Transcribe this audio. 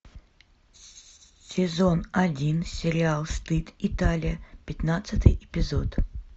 сезон один сериал стыд италия пятнадцатый эпизод